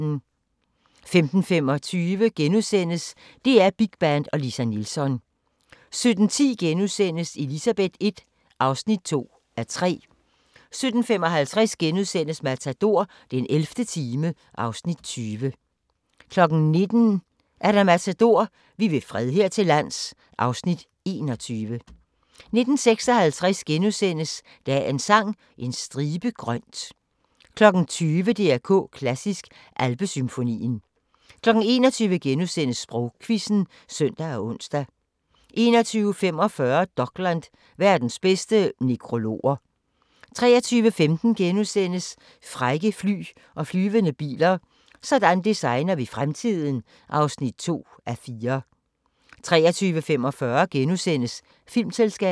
15:25: DR Big Band og Lisa Nilsson * 17:10: Elizabeth I (2:3)* 17:55: Matador - den 11. time (Afs. 20)* 19:00: Matador - vi vil fred her til lands (Afs. 21) 19:56: Dagens Sang: En stribe grønt * 20:00: DR K Klassisk: Alpesymfonien 21:00: Sprogquizzen *(søn og ons) 21:45: Dokland: Verdens bedste nekrologer 23:15: Frække fly og flyvende biler - sådan designer vi fremtiden (2:4)* 23:45: Filmselskabet *